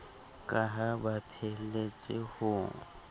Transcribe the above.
ka ha ba pheelletse ho